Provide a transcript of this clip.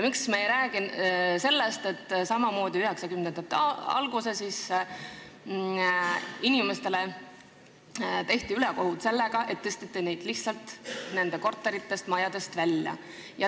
Miks me ei räägi sellest, et 1990-ndate alguses tehti inimestele ülekohut sellega, et tõsteti nad lihtsalt nende korteritest või majadest välja?